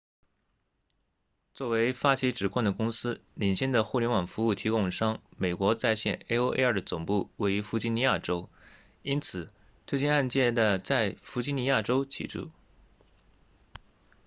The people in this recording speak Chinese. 作为发起指控的公司领先的互联网服务提供商美国在线 aol 的总部位于弗吉尼亚州因此这起案件在弗吉尼亚州起诉